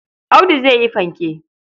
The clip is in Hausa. Audu zai yi fanke.